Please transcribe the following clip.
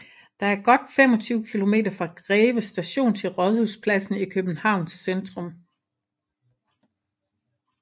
Der er godt 25 kilometer fra Greve st til Rådhuspladsen i Københavns centrum